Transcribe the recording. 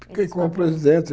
Fiquei como presidente.